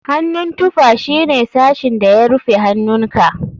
Hannun tufa shine sashin da ya rufe hannunka.